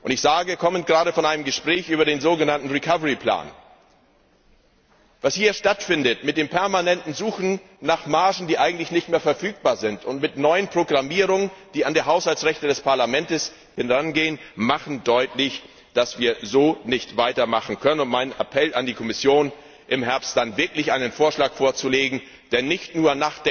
Ich komme gerade von einem Gespräch über das so genannte Konjunkturprogramm und möchte feststellen Was hier stattfindet mit dem permanenten Suchen nach Margen, die eigentlich nicht mehr verfügbar sind, und mit neuen Programmierungen, die an die Haushaltsrechte des Parlaments herangehen, macht deutlich, dass wir so nicht weitermachen können. Deshalb mein Appell an die Kommission, im Herbst dann wirklich einen Vorschlag vorzulegen, in dem nicht nur